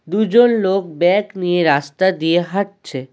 দুজন লোক ব্যাক নিয়ে রাস্তা দিয়ে হাঁটছে।